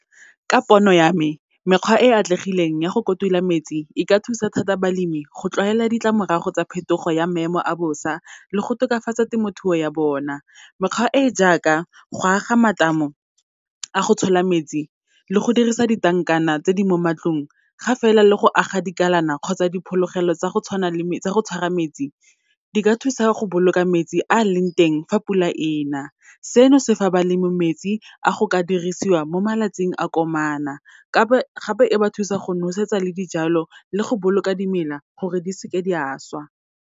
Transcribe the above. Ka pono ya me, mekgwa e e atlegileng ya go kotula metsi, e ka thusa thata balemi go tlwaela ditlamorago tsa phetogo ya maemo a bosa le go tokafatsa temothuo ya bona. Mekgwa e jaaka, go aga matamo a go tshola metsi, le go dirisa di-tank-ana tse di mo matlong, ga fela le go aga dikalana kgotsa diphologelo tsa go tshwara metsi, di ka thusa go boloka metsi a leng teng fa pula ena. Seno se fa balemi metsi a go ka dirisiwa mo malatsing a komana gape e ba thusa go nosetsa le dijalo, le go boloka dimela gore di seke di a swa.